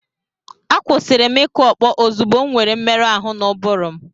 Akwụsịrị m ịkụ ọkpọ ozugbo m nwere mmerụ ahụ n'ụbụrụ m.